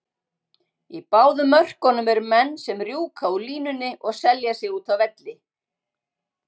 Í báðum mörkunum eru menn sem rjúka úr línunni og selja sig úti á velli.